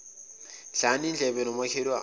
dlana indlebe nomakhelwane